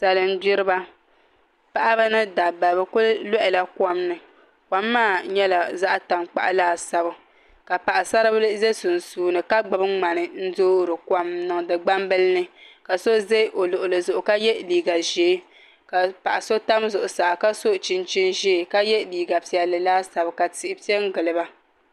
Salin gbiriba paɣaba ni dabba bi ku loɣala kom ni kom maa nyɛla zaɣ tankpaɣu laasabu ka paɣasari bili ʒɛ sunsuuni ka gbubi ŋmani n doori kom n niŋdi gbambili ni ka so ʒɛ o luɣuli zuɣu ka yɛ liiga ʒiɛ ka paɣa so tam zuɣusaa ka so chinchin ʒiɛ ka yɛ liiga piɛlli laasabu ka tihi piɛ n giliba